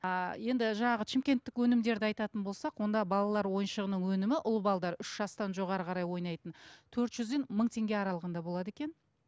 а енді жаңағы шымкенттік өнімдерді айтатын болсақ онда балалар ойыншығының өнімі ұл үш жастан жоғары қарай ойнайтын төрт жүзден мың теңге аралығында болады екен